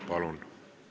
Palun!